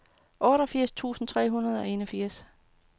otteogfirs tusind tre hundrede og enogfirs